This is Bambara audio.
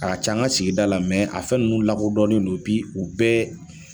A ka ca an ga sigida la a fɛn nunnu lakɔdɔnnen don u bɛɛ